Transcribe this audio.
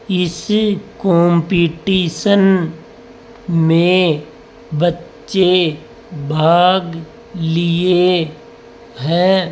इस कंपीटिशन में बच्चे भाग लिए हैं।